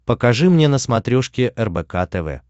покажи мне на смотрешке рбк тв